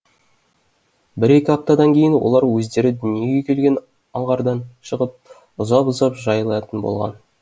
бір екі аптадан кейін олар өздері дүниеге келген аңғардан шығып ұзап ұзап жайылатын болған